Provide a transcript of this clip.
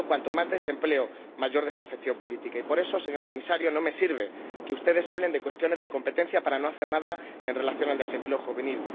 Y, por tanto, cuanto más desempleo, mayor desafección política y, por eso, señor Comisario, no me sirve que ustedes hablen de cuestiones de competencia para no hacer nada en relación con el desempleo juvenil.